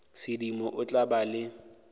sedimo o tla ba le